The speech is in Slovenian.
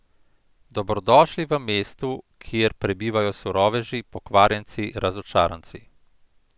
Dobrodošli v mestu, kjer prebivajo suroveži, pokvarjenci, razočaranci.